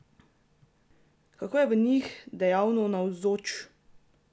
Kako je v njih dejavno navzoč?